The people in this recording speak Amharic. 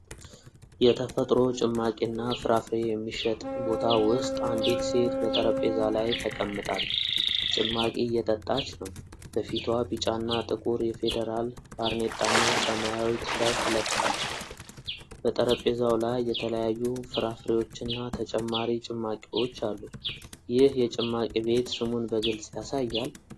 የተፈጥሮ ጭማቂና ፍራፍሬ የሚሸጥ ቦታ ውስጥ አንዲት ሴት በጠረጴዛ ዙሪያ ተቀምጣለች። ጭማቂ እየጠጣች ነው። በፊቷ ቢጫና ጥቁር የፈደራል ባርኔጣና ሰማያዊ ቲ-ሸርት ለብሳለች። በጠረጴዛው ላይ የተለያዩ ፍራፍሬዎችና ተጨማሪ ጭማቂዎች አሉ። ይህ የጭማቂ ቤት ስሙን በግልጽ ያሳያል?